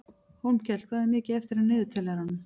Hólmkell, hvað er mikið eftir af niðurteljaranum?